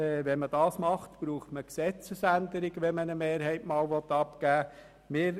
In diesem Fall bedürfte es einer Gesetzesänderung, wenn man künftig eine Mehrheit abgeben will.